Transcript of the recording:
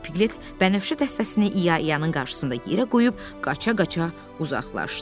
Piqlet bənövşə dəstəsini İya-iyanın qarşısında yerə qoyub qaça-qaça uzaqlaşdı.